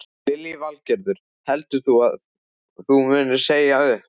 Lillý Valgerður: Heldur þú að þú munir segja upp?